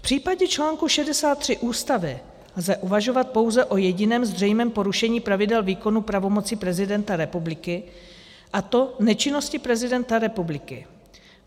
V případě článku 63 Ústavy lze uvažovat pouze o jediném zřejmém porušení pravidel výkonu pravomocí prezidenta republiky, a to nečinnosti prezidenta republiky.